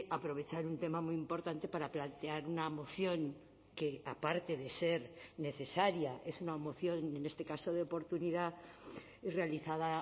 aprovechar un tema muy importante para plantear una moción que aparte de ser necesaria es una moción en este caso de oportunidad y realizada